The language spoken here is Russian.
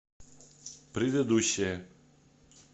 предыдущая